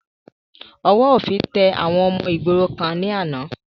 Ọwọ́ òfin tẹ àwọn ọmọ ìgboro kan ni àná